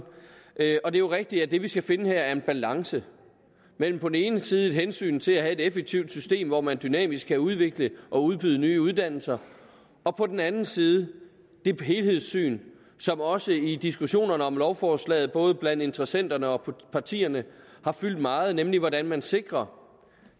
det er jo rigtigt at det vi skal finde her er en balance mellem på den ene side et hensyn til at have et effektivt system hvor man dynamisk kan udvikle og udbyde nye uddannelser og på den anden side det helhedssyn som også i diskussionerne om lovforslaget både blandt interessenterne og partierne har fyldt meget nemlig hvordan man sikrer